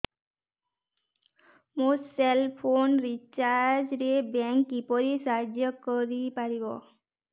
ମୋ cell phone recharge ରେ bank କିପରି ସାହାଯ୍ୟ କରିପାରିବ